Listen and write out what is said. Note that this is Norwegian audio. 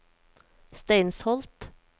Steinsholt